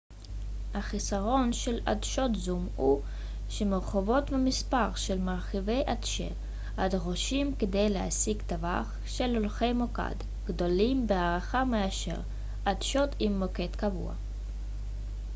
החיסרון של עדשות זום הוא שהמורכבות והמספר של מרכיבי עדשה הדרושים כדי להשיג טווח של אורכי מוקד גדולים בהרבה מאשר עדשות עם מוקד קבוע